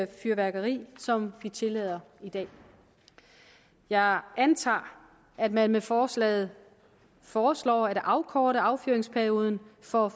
fyrværkeri som vi tillader i dag jeg antager at man med forslaget foreslår at afkorte affyringsperioden for